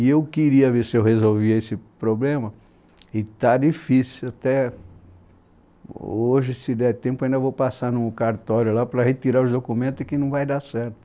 E eu queria ver se eu resolvia esse problema e está difícil até... Hoje, se der tempo, ainda vou passar no cartório lá para retirar os documentos que não vai dar certo.